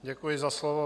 Děkuji za slovo.